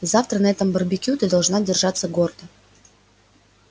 и завтра на этом барбекю ты должна держаться гордо